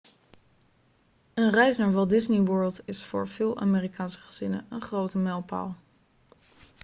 een reis naar walt disney world is voor veel amerikaanse gezinnen een grote mijlpaal